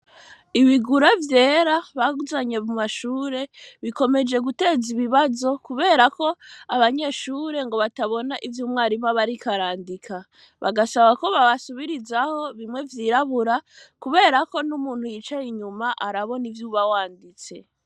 Ibigura vyera bazanye mu mashure, bikomeye guteza ibibazo kubera ko abanyeshure ngo batabona ivyo umwigisha aba ariko arandika. Bagasaba ko babasubirizaho bimwe vyirabura, kubera ko n'umuntu aba yicaye inyuma arabona ivyo uba wanditse.